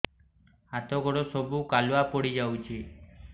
ହାତ ଗୋଡ ସବୁ କାଲୁଆ ପଡି ଯାଉଛି